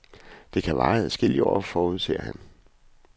Det kan vare adskillige år, forudser han.